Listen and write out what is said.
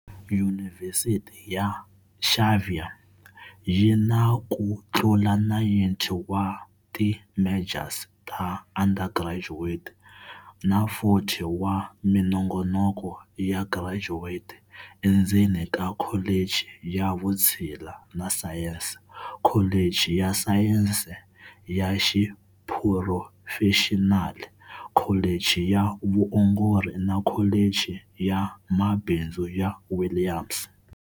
Yunivhesiti ya Xavier yi na ku tlula 90 wa ti majors ta undergraduate na 40 wa minongonoko ya graduate endzeni ka Kholichi ya Vutshila na Sayense, Kholichi ya Sayense ya Xiphurofexinali, Kholichi ya Vuongori na Kholichi ya Mabindzu ya Williams.